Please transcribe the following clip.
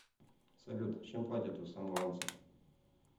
салют чем платят у самоанцев